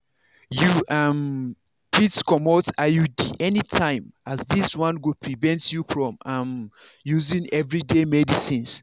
you um fitbcomot iud anytime as this one go prevent you from um using everyday medicines.